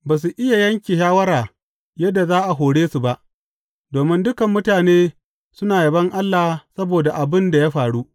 Ba su iya yanke shawara yadda za a hore su ba, domin dukan mutane suna yabon Allah saboda abin da ya faru.